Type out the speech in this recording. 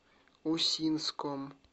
усинском